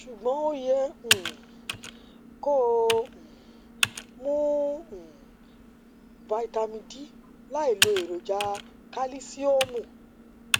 ṣùgbọn o yẹ um kó o um mu um vitamin d láìlo èròjà kalisiomu